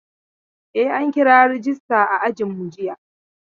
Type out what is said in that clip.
E, an kira rejista a ajinmu jiya.